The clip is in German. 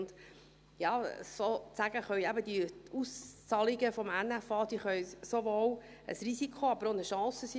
Und, ja, diese Auszahlungen aus dem NFA können sozusagen sowohl ein Risiko als aber auch eine Chance sein.